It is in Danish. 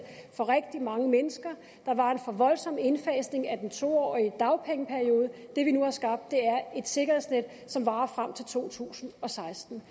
for rigtig mange mennesker der var en for voldsom indfasning af den to årige dagpengeperiode det vi nu har skabt er et sikkerhedsnet som varer frem til to tusind og seksten